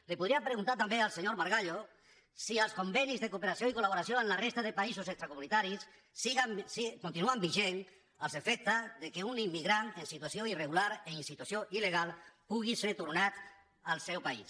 li podria preguntar tam·bé al senyor margallo si els convenis de cooperació i col·laboració amb la resta de països extracomunitaris continuen vigents als efectes que un immigrant en si·tuació irregular i en situació il·legal pugui ser tornat al seu país